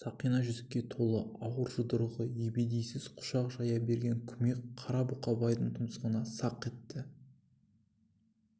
сақина жүзікке толы ауыр жұдырығы ебедейсіз құшақ жая берген күмпек қара бұқабайдың тұмсығына сақ етті